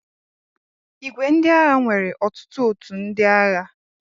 ìgwè ndị agha nwere otutu ótù ndị agha.